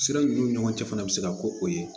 Sira ninnu ni ɲɔgɔncɛ fana bɛ se ka ko o ye